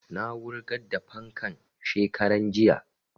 Na wurgar da fankan shekaran jiya